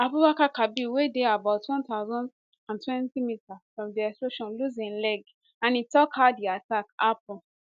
abubakar kabir wey dey about 1020 meters from di explosion lose im leg and e tok how di attack happun